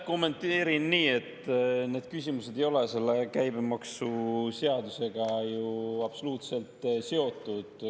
Kommenteerin nii, et need küsimused ei ole selle käibemaksuseadusega ju absoluutselt seotud.